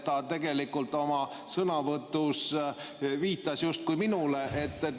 Ta tegelikult oma sõnavõtus viitas justkui minule.